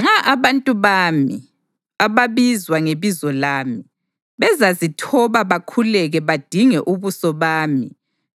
nxa abantu bami, ababizwa ngebizo lami, bezazithoba bakhuleke badinge ubuso bami